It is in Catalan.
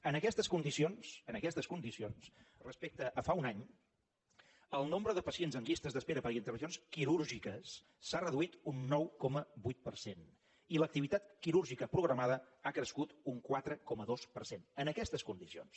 en aquestes condicions en aquestes condicions respecte a fa un any el nombre de pacients en llistes d’espera per a intervencions quirúrgiques s’ha reduït un nou coma vuit per cent i l’activitat quirúrgica programada ha crescut un quatre coma dos per cent en aquestes condicions